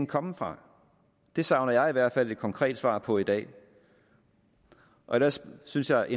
komme fra det savner jeg i hvert fald et konkret svar på i dag ellers synes jeg